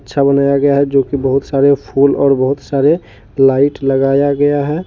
अच्छा बनाया गया है जो की बहुत सारे फूल और बहुत सारे लाइट लगाया गया है।